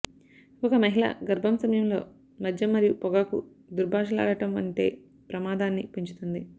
ఒక మహిళ గర్భం సమయంలో మద్యం మరియు పొగాకు దుర్భాషలాడటం ఉంటే ప్రమాదాన్ని పెంచుతుంది